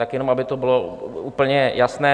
Tak jenom aby to bylo úplně jasné.